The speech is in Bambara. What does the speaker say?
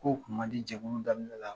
Kow kun ma di jɛkulu daminɛ la.